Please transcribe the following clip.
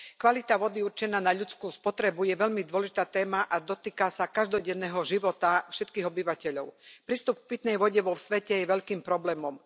Kvalita vody určená na ľudskú spotrebu je veľmi dôležitá téma a dotýka sa každodenného života všetkých obyvateľov. Prístup k pitnej vode vo svete je veľkým problémom.